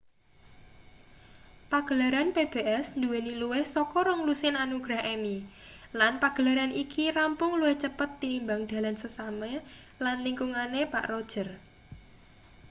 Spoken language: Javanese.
pagelaran pbs nduweni luwih saka rong-lusin anugrah emmy lan pagelaran iki rampung luwih cepet tinimbang dalan sesame lan lingkungane pak roger